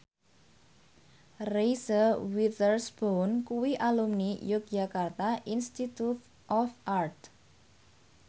Reese Witherspoon kuwi alumni Yogyakarta Institute of Art